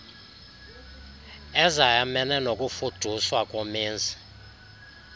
ezayamene nokufuduswa komenzi